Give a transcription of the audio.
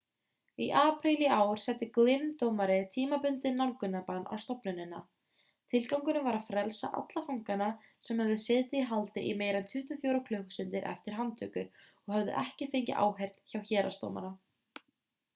í apríl í ár setti glynn dómari tímabundið nálgunarbann á stofnunina tilgangurinn var að frelsa alla fangana sem höfðu setið í haldi í meira en 24 klukkustundir eftir handtöku og höfðu ekki fengið áheyrn hjá héraðsdómara